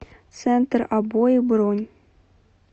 центр обои бронь